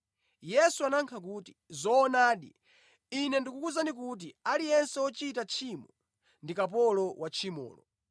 Yesu anayankha kuti, “Zoonadi, Ine ndikukuwuzani kuti aliyense wochita tchimo ndi kapolo wa tchimolo.